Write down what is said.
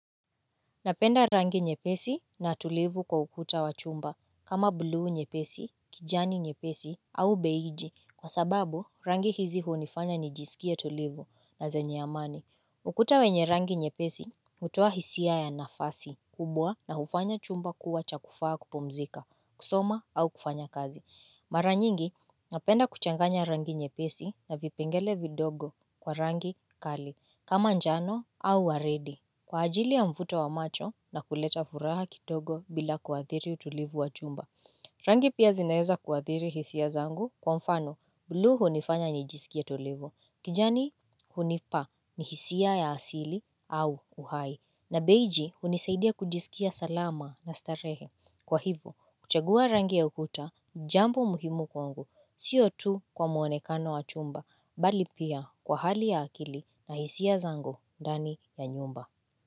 Napenda rangi nyepesi na tulivu kwa ukuta wa chumba kama blue nyepesi kijani nyepesi au beige kwa sababu rangi hizi hunifanya nijisikia tulivu na zenye amani ukuta wenye rangi nyepesi hutoa hisia ya nafasi kubwa na ufanya chumba kuwa cha kufaa kupomzika kusoma au kufanya kazi mara nyingi napenda kuchanganya rangi nyepesi na vipengele vidogo kwa rangi kali kama njano au waridi kwa ajili ya mvuto wa macho na kuleta furaha kitogo bila kuathiri utulivu wa chumba. Rangi pia zinaeza kuathiri hisia zangu kwa mfano. Blue hunifanya nijisikie tulivu. Kijani hunipa ni hisia ya asili au uhai. Na beiji hunisaidia kujisikia salama na starehe. Kwa hivo kuchagua rangi ya ukuta, jambo muhimu kwangu. Sio tu kwa muonekano wa chumba, bali pia kwa hali ya akili na hisia zangu ndani ya nyumba.